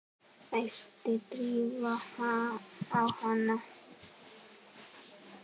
æpti Drífa á hana.